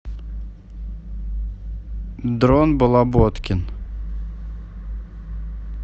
дрон балаботкин